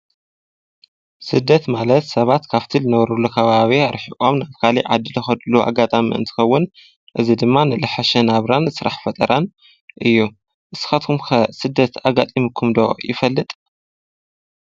ስደት ማለት ሰባት ካብቲ ልነበሩሉ ካባቢ ርሒቖም ናብ ካሊእ ዓዲ ልኸድሉ ኣጋጣ እንትኸውን እዚ ድማ ልዘሓሸ ናብራን ስራሕ ፈጠራን እዩ፡፡ ንስኻትኩምከ ስደት ኣጋጢምኩምዶ ይፈልይ?